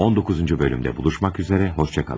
19-cu hissədə görüşmək ümidi ilə, sağ olun.